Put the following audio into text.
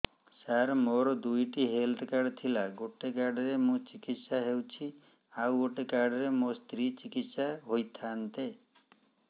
ସାର ମୋର ଦୁଇଟି health card ଥିଲା ଗୋଟେ କାର୍ଡ ରେ ମୁଁ ଚିକିତ୍ସା ହେଉଛି ଆଉ ଗୋଟେ କାର୍ଡ ରେ ମୋ ସ୍ତ୍ରୀ ଚିକିତ୍ସା ହୋଇଥାନ୍ତେ